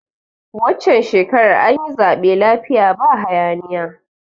Wancan shekarar anyi zaɓe lafiya ba haya niya